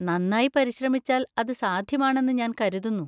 നന്നായി പരിശ്രമിച്ചാൽ അത് സാധ്യമാണെന്ന് ഞാൻ കരുതുന്നു.